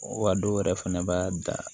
Wa dɔw yɛrɛ fɛnɛ b'a da